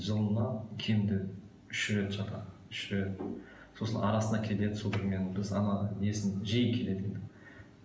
жылына кемінде үш рет жатады үш рет сосын арасында кетеді судорогымен сосын ана несін жиі келеді